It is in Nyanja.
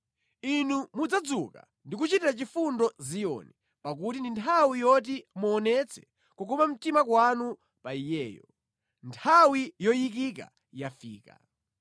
Inu mudzadzuka ndi kuchitira chifundo Ziyoni pakuti ndi nthawi yoti muonetse kukoma mtima kwanu pa iyeyo; nthawi yoyikika yafika.